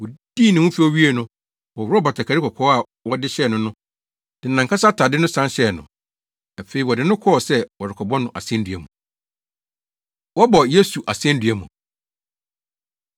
Wodii ne ho fɛw wiei no, wɔworɔw batakari kɔkɔɔ a wɔde hyɛɛ no no, de nʼankasa atade no san hyɛɛ no. Afei wɔde no kɔɔ sɛ wɔrekɔbɔ no asennua mu. Wɔbɔ Yesu Asennua Mu